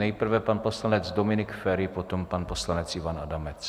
Nejprve pan poslanec Dominik Feri, potom pan poslanec Ivan Adamec.